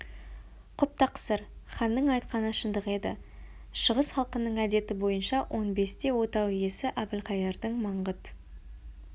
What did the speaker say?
құп тақсыр ханның айтқаны шындық еді шығыс халқының әдеті бойынша он бесте отау иесі әбілқайырдың маңғыт